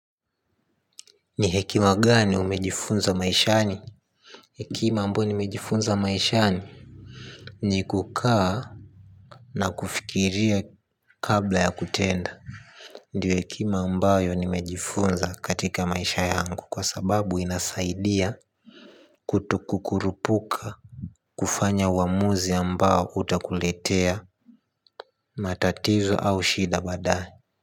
Ni hekima gani umejifunza maishani. Hekima ambayo nimejifunza maishani ni kukaa na kufikiria kabla ya kutenda. Ndio hekima ambayo nimejifunza katika maisha yangu kwa sababu inasaidia. Kutukukurupuka kufanya uamuzi ambao utakuletea matatizo au shida baadaye.